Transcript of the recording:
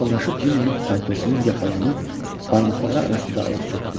Yaxınlaşıb Cinninin paltosunun yaxalığını barmaqları arasında alıb sürtdü.